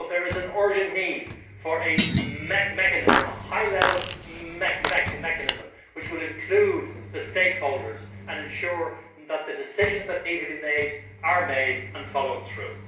However, there is an urgent need for a mechanism, a high level mechanism which will include the stakeholders and ensure that the decisions that need to be made are made and followed through.